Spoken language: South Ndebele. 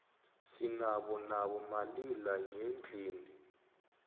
sinabo nabo malila nyendlini